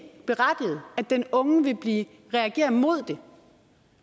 berettiget at den unge vil reagere mod det